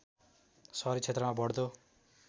सहरी क्षेत्रमा बढ्दो